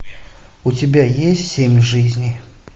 у тебя есть семь жизней